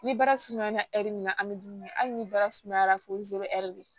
Ni baara sumayara ɛri min na an bɛ dumuni kɛ hali ni bara sumayara fo de